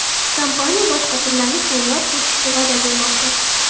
Kompaniya boshqa tillarni keyinroq qo‘shishga va’da bermoqda.